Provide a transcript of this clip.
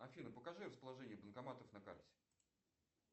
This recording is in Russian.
афина покажи расположение банкоматов на карте